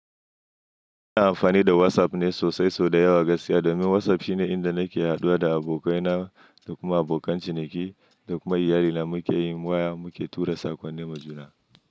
Ina amfani da WhatsApp ne sosai sau da yawa gaskiya domin WhatsApp shine inda nake haduwa da abokai na da kuma abokan ciniki da kuma iyalina. Mu ke yin waya, mu ke tura saƙonni majuna.